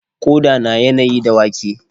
Ƙoda na yanayi da wake.